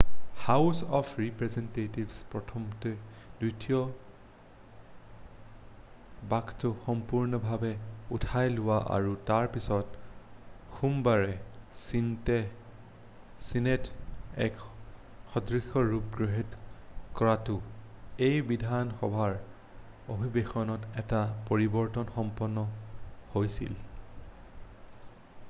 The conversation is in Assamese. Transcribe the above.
হাউচ অফ ৰিপ্ৰেজেন্টেটিভে প্ৰথমতে দ্বিতীয় বাক্যটো সম্পূৰ্ণভাৱে উঠাই লোৱা আৰু তাৰ পিছত সোমবাৰে ছিনেটে এক সদৃশ ৰূপ গৃহীত কৰোতে এই বিধানসভাৰ অধিৱেশনত এটা পৰিৱৰ্তন সম্পন্ন হৈছিল